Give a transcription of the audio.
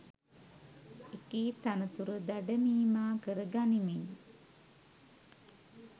එකී තනතුර දඩමීමා කර ගනිමින්